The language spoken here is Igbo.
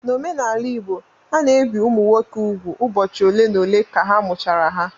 N'omenala Igbo, a na-ebi ụmụ nwoke úgwù ụbọchị ole n'ole ka a mụchara ha